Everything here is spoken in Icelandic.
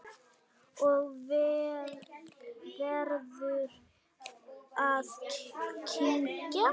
Og verður að kyngja.